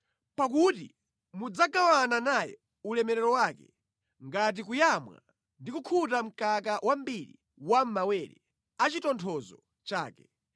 Pakuti mudzagawana naye ulemerero wake ngati kuyamwa ndi kukhuta mkaka wambiri wa mʼmawere a chitonthozo chake.”